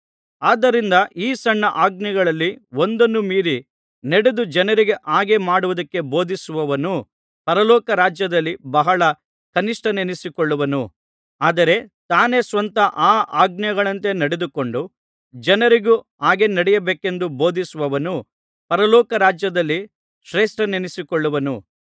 ಆದುದರಿಂದ ಈ ಸಣ್ಣ ಆಜ್ಞೆಗಳಲ್ಲಿ ಒಂದನ್ನು ಮೀರಿ ನಡೆದು ಜನರಿಗೂ ಹಾಗೆ ಮಾಡುವುದಕ್ಕೆ ಬೋಧಿಸುವವನು ಪರಲೋಕ ರಾಜ್ಯದಲ್ಲಿ ಬಹಳ ಕನಿಷ್ಠನೆನ್ನಿಸಿಕೊಳ್ಳುವನು ಆದರೆ ತಾನೇ ಸ್ವತಃ ಆ ಆಜ್ಞೆಗಳಂತೆ ನಡೆದುಕೊಂಡು ಜನರಿಗೂ ಹಾಗೆ ನಡೆಯಬೇಕೆಂದು ಬೋಧಿಸುವವನು ಪರಲೋಕ ರಾಜ್ಯದಲ್ಲಿ ಶ್ರೇಷ್ಠನೆನಿಸಿಕೊಳ್ಳುವನು